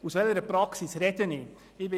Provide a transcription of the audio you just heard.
Aus welcher Praxis spreche ich?